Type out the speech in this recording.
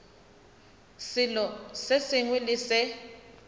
selo se sengwe le se